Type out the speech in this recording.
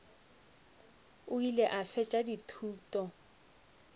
o ile a fetša dithuto